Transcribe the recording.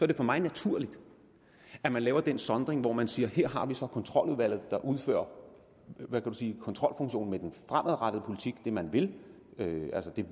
det for mig naturligt at man laver den sondring hvor man siger her har vi så kontroludvalget der udfører kontrolfunktionen med den fremadrettede politik altså det man vil det